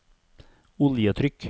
oljetrykk